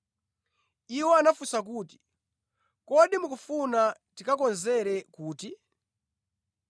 Iwo anafunsa kuti, “Kodi mukufuna tikakonzere kuti?”